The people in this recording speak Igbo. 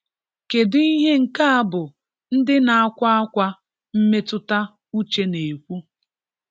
Kedu ihe nke a bụ ndị na-akwa ákwá mmetụta uche na-ekwu?